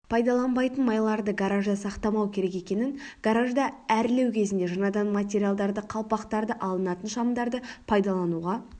пайдаланбайтын майларды гаражда сақтамау керек екенін гаражды әрлеу кезінде жанатын материалдарды қалпақтары алынатын шамдарды пайдалануға